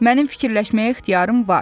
Mənim fikirləşməyə ixtiyarım var.